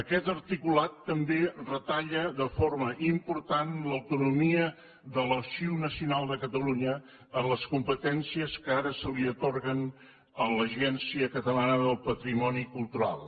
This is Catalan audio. aquest articulat també retalla de forma important l’autonomia de l’arxiu nacional de catalunya amb les competències que ara se li atorguen a l’agència catalana del patrimoni cultural